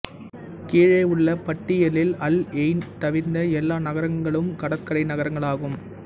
கீழேயுள்ள பட்டியலில் Al Ain தவிர்ந்த எல்லா நகரங்களும் கடற்கரை நகரங்களாகும்